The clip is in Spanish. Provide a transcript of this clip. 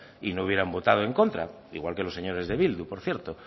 y no hubieran votado en contra igual que los señores de bildu por cierto